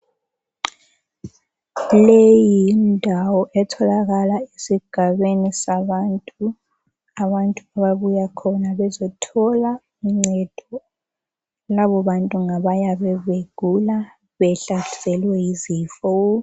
Leyi yindawo etholakala esigabeni sabantu, abantu ababuya khona ukuzothola uncedo. Labo bantu ngabayabe begula behlaselwe yizifo.